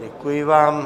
Děkuji vám.